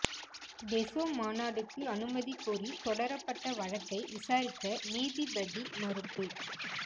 டெசோ மாநாடுக்கு அனுமதி கோரி தொடரப்பட்ட வழக்கை விசாரிக்க நீதிபதி மறுப்பு